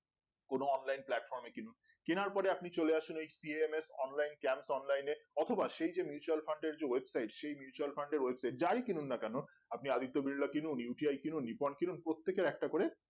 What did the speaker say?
কোনো online platform এ কিনুন কেনার পরে আপনি চলে আসুন এই C M S online camp online এ অথবা সেই যে mutual fund এর যে website সেই mutual fund এর website যাই কিনুন না কেনো আপনি আদিত্য বিড়লা কিনুন U T I কিনুন রিপন কিনুন প্রতীকের একটা করে